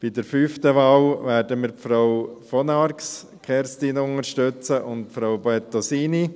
Bei der fünften Wahl werden wir Frau von Arx Kerstin und Frau Bettosini unterstützen.